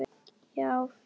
Já, fjögur HJÖRTU!